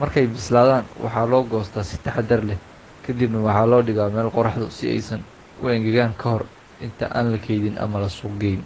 Markay bislaadaan, waxaa loo goostaa si taxaddar leh, kadibna waxaa loo dhigaa meel qorraxda si ay u engegaan ka hor inta aan la keydin ama la suuq geyn.